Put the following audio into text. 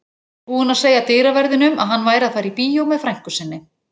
Búinn að segja dyraverðinum að hann væri að fara á bíó með frænku sinni.